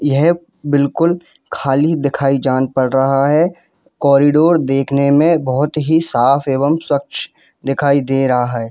यहां बिल्कुल खाली दिखाई जान पर रहा है कॉरिडोर दिखने में बहुत ही साफ एवं स्वच्छ दिखाई दे रहा है।